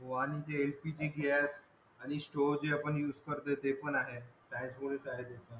store जे आपण use करतो ते पण आहे